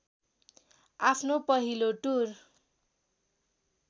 आफ्नो पहिलो टुर